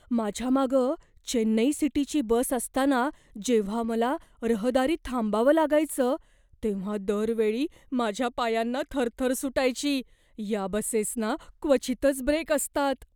माझ्या मागं चेन्नई सिटीची बस असताना जेव्हा मला रहदारीत थांबावं लागायचं तेव्हा दर वेळी माझ्या पायांना थरथर सुटायची. या बसेसना क्वचितच ब्रेक असतात.